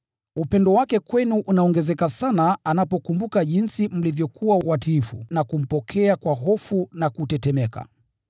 Upendo wake kwenu unaongezeka sana anapokumbuka jinsi mlivyokuwa watiifu, na kumpokea kwa hofu na kutetemeka.